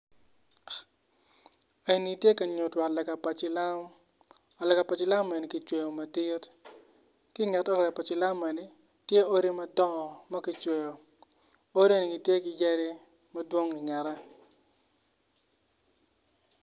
En ni ti ka nyutu ot lega pa cilam ot lega cilam enni ki cweyo madit ki nget ot lega pa cilam enni tye odi madong ma kicweyo odi eni gitye ki yadi madwong ingete